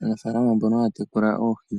Aanafaalama mbono haya tekula oohi,